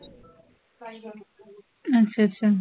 ਅੱਛਾ ਅੱਛਾ